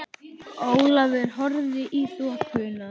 Ólafur horfði í þokuna.